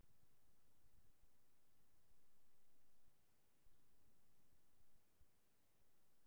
En þrákelknin í honum neitar að snúa aftur frá fyrirhugaðri áætlun.